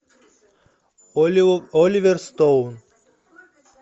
оливер стоун